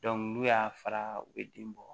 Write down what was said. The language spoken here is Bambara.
n'u y'a fara u bɛ den bɔ